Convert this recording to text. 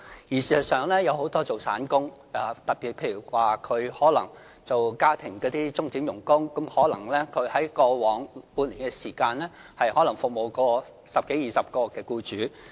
事實上，很多從事散工的市民，特別是家庭鐘點傭工，可能在過往半年內服務十多二十個僱主。